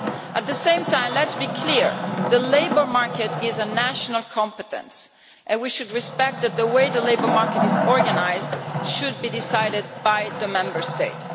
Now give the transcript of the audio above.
At the same time, let us be clear the labour market is a national competence and we should respect the fact that the way the labour market is organised is decided by the Member States.